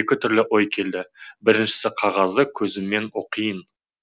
екі түрлі ой келді біріншісі қағазды көзіммен оқиын